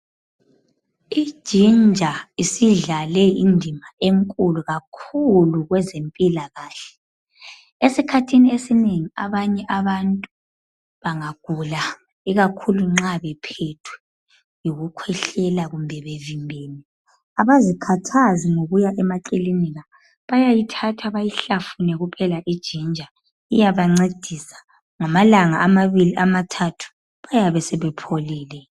Ijinja isidlale indima enkulu kakhulu kwezempilakahle esikhathini esinengi abanye abantu bangagula ikakhulu nxa bephethwe yiku khwehlela kumbe bevimbene. Abazikhathazi ngokuya emakilinika bayayithatha bayihlafune kuphela ijinja iyabancedisa ngamalanga amabili amathathu bayabe sebepholile.